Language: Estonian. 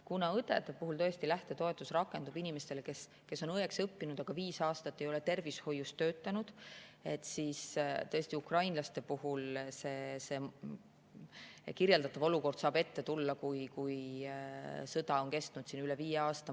Kuna õdede lähtetoetus rakendub inimeste suhtes, kes on õeks õppinud, aga viis aastat ei ole tervishoius töötanud, siis ukrainlaste puhul saab kirjeldatud olukord ette tulla siis, kui sõda on kestnud üle viie aasta.